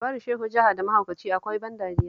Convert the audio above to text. Labarin Shehu Jaha da mahaukaci akwai ban dariya